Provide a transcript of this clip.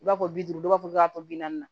I b'a fɔ bi duuru dɔw b'a fɔ k'a tɔ bi naani